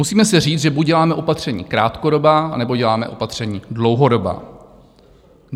Musíme si říct, že buď děláme opatření krátkodobá, anebo děláme opatření dlouhodobá.